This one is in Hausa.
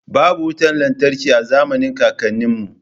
Babu wutar lantarki a zamanin kakanninmu